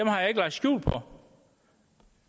har jeg ikke lagt skjul på